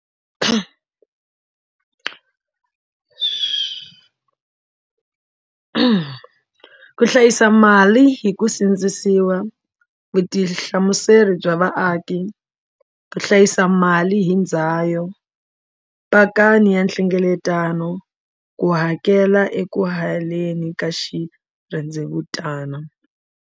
ku hlayisa mali hi ku sindzisiwa vutihlamuseri bya va aki ku hlayisa mali hi ndzayo pakani ya nhlengeletano ku hakela eku haleni ka xirhendevutana.